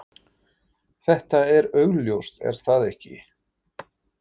Þetta er augljóst, er það ekki?